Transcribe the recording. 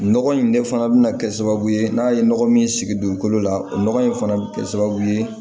Nɔgɔ in de fana bɛna kɛ sababu ye n'a ye nɔgɔ min sigi dugukolo la o nɔgɔ in fana bɛ kɛ sababu ye